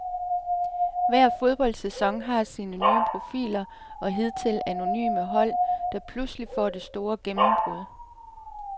Hver fodboldsæson har sine nye profiler og hidtil anonyme hold, der pludselig får det store gennembrud.